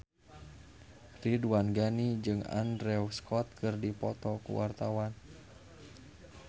Ridwan Ghani jeung Andrew Scott keur dipoto ku wartawan